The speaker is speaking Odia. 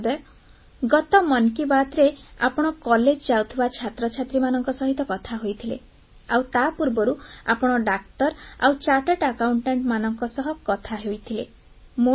ପ୍ରଧାନମନ୍ତ୍ରୀ ମହୋଦୟ ଗତ ମନ କି ବାତ୍ ରେ ଆପଣ କଲେଜ ଯାଉଥିବା ଛାତ୍ରଛାତ୍ରୀମାନଙ୍କ ସହିତ କଥା ହୋଇଥିଲେ ଆଉ ତା ପୂର୍ବରୁ ଆପଣ ଡାକ୍ତର ଆଉ ଚାର୍ଟାର୍ଡ ଏକାଉଣ୍ଟାଣ୍ଟମାନଙ୍କ ସହ କଥା ହୋଇଥିଲେ